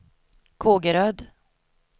Kågeröd